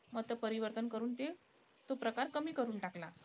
मत परिवर्तन करून तो प्रकार कमी करून टाकला.